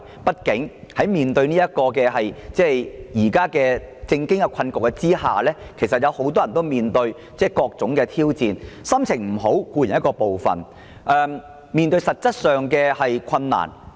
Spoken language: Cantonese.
畢竟，面對當前的政經困局，很多人皆面對重重挑戰，心情固然會受影響，還要面對各種實質上的困難。